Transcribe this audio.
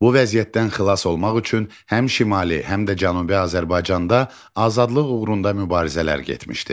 Bu vəziyyətdən xilas olmaq üçün həm Şimali, həm də Cənubi Azərbaycanda azadlıq uğrunda mübarizələr getmişdi.